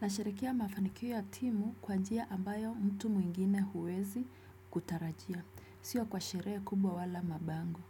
Nasherehekea mafanikio ya timu kwa njia ambayo mtu mwingine huwezi kutarajia, sio kwa sherehe kubwa wala mabango,